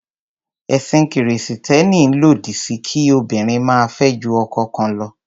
Ẹ̀sìn Kìrìsìtẹ́ẹ́nì lòdí sí kí obìnrin máa fẹ́ ju ọkọ kan lọ.